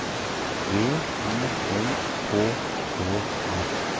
V I L K Å R